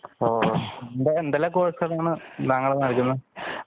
ഹോ എന്തെല്ലാം കോഴ്സ് കൾ ആണ് താങ്കൾ നല്കുക